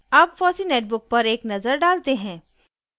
अब fossee netbook पर एक नज़र डालते हैं